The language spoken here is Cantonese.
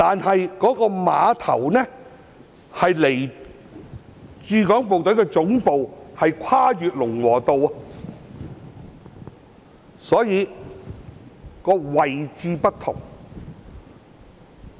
然而，這個碼頭並非連接駐港部隊總部，因為它跨越了龍和道，所以兩者的位置並不相同。